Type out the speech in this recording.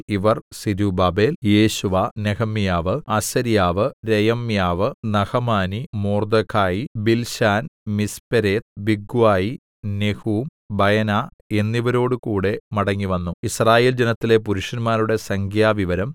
ഇവർ സെരുബ്ബാബേൽ യേശുവ നെഹെമ്യാവ് അസര്യാവ് രയമ്യാവ് നഹമാനി മൊർദെഖായി ബിൽശാൻ മിസ്പേരെത്ത് ബിഗ്വായി നെഹൂം ബയനാ എന്നിവരോടുകൂടെ മടങ്ങിവന്നു യിസ്രായേൽജനത്തിലെ പുരുഷന്മാരുടെ സംഖ്യാവിവരം